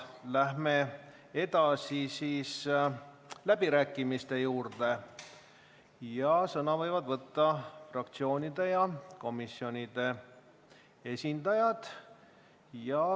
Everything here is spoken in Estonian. Läheme edasi läbirääkimiste juurde ning sõna võivad võtta fraktsioonide ja komisjonide esindajad.